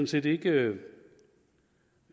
set ikke